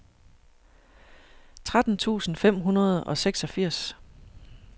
tretten tusind fem hundrede og seksogfirs